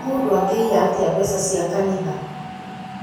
Mũndũ angĩia atĩa mbeca cia kanitha?